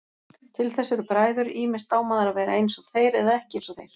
Til þess eru bræður, ýmist á maður að vera einsog þeir eða ekki einsog þeir.